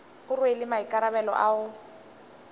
o rwele maikarabelo a go